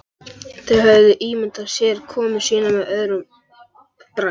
Þeir höfðu ímyndað sér komu sína með öðrum brag.